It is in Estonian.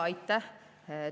Aitäh!